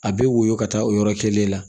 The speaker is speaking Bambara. A bɛ woyɔ ka taa o yɔrɔ kelen la